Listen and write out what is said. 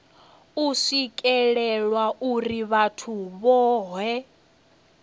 u swikelelwa uri vhathu vhohe